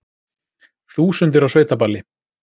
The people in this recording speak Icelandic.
Þúsundir á sveitaballi